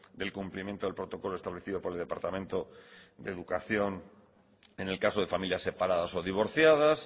del cumplimiento del protocolo establecido por el departamento de educación en el caso de familias separadas o divorciadas